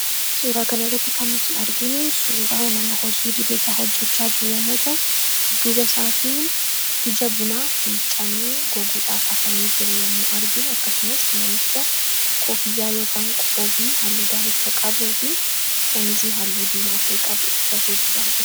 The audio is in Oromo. Suuraa kana irratti kan nuti arginu, suuraa nama hojii idilee isaa hojjechaa jiruu yemmuu ta'u, dudduuba isaatiin ija bunaa miiccamee goguudhaaf hafamee jiru yemmuu arginu akkasumas namicha koffiyyaa yookiin qoobii halluu daalacha qabuu fi shaamizii halluu diimaa ta'e qabu uffatee jiru argina.